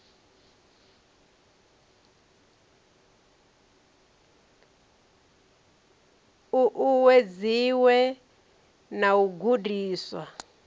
u uwedziwe na u gudiswa